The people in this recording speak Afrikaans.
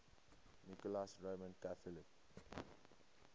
nicholas roman catholic